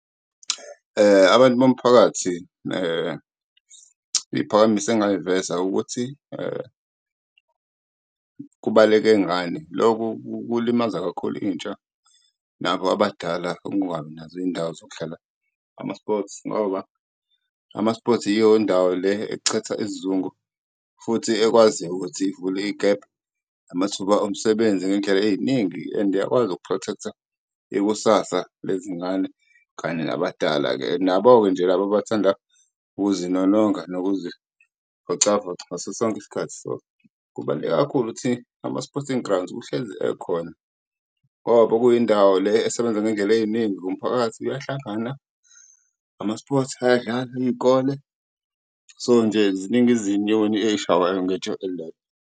Abantu bomphakathi iy'phakamiso engayiveza ukuthi kubaleke ngani loku kulimaza kakhulu intsha nabo abadala ukungabi nazo izindawo zokudlala ama-sports, ngoba ama-sports iyo indawo le echitha isizungu. Futhi ekwaziyo ukuthi ivule igebhu amathuba omsebenzi ngey'ndlela ey'ningi and iyakwazi uku-protect-a ikusasa lezingane kanye nabadala-ke, nabo-ke nje laba abathanda ukuzinolonga nokuzivocavoca ngaso sonke isikhathi. So, kubaluleke kakhulu ukuthi ama-sporting grounds kuhlezi ekhona ngoba bekuyindawo le esebenza ngendlela ey'ningi, umphakathi uyahlangana, ama-sports ayadlala, iy'kole so nje ziningi izinyoni eyishaywayo ngetshe elilodwa.